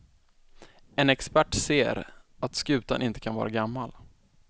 En expert ser, att skutan inte kan vara gammal.